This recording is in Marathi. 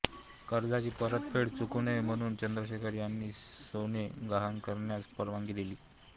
कर्जाची परतफेड चुकूनये म्हणुन चन्द्रशेखर यांनी सोने गहाण करण्यास परवानगी दिली